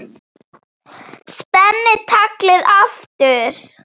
Spenni taglið aftur.